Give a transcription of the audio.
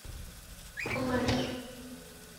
флэш